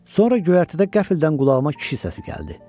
Sonra göyərtədə qəfildən qulağıma kişi səsi gəldi.